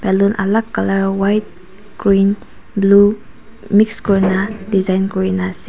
And then alak colour white green blue mixed kuri na design kuri na asa.